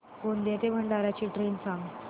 गोंदिया ते भंडारा ची ट्रेन सांग